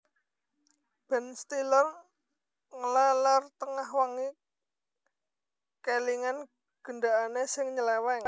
Ben Stiller ngleler tengah wengi kelingan gendakane sing nyeleweng